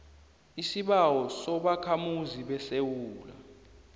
isibawo sobakhamuzi besewula